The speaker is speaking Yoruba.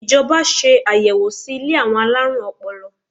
Ìjọba ṣe ayẹwo sí ilé àwọn alárùn ọpọlọ.